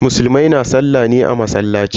Musulmai na sallah ne a masallaci.